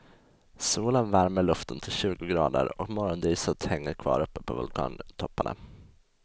Solen värmer luften till tjugo grader och morgondiset hänger kvar uppe på vulkantopparna.